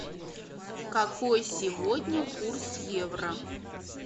какой сегодня курс евро